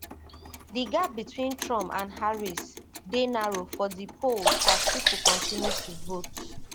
di gap between trump and harris dey narrow for di polls as pipo continue to vote